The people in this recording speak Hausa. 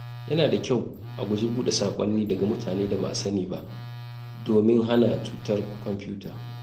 Yana da kyau a guji buɗe saƙonni daga mutane da ba a sani ba domin hana cutar kwamfuta.